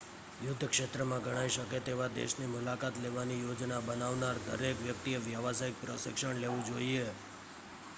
યુદ્ધ ક્ષેત્રમાં ગણાઈ શકે તેવા દેશની મુલાકાત લેવાની યોજના બનાવનાર દરેક વ્યક્તિએ વ્યાવસાયિક પ્રશિક્ષણ લેવું જોઈએ